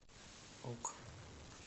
ок